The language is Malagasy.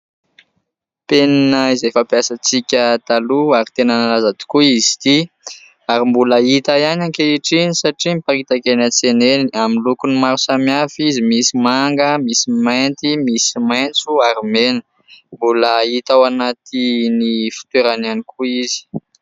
Penina izay fampiasantsika taloha ary tena nalaza tokoa izy ity. Ary mbola hita ihany ankehitriny satria miparitaka eny an-tsena eny. Amin'ny lokony maro samihafa izy, misy manga, misy mainty, misy maitso ary mena. Mbola hita ao anatin'ny fitoerany ihany koa izy.